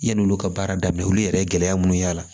Yan'olu ka baara daminɛ olu yɛrɛ ye gɛlɛya munnu y'a la